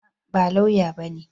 A'a, ba lauya bane.